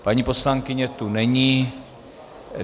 Paní poslankyně zde není.